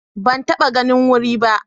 Ban taɓa ganin wuri ba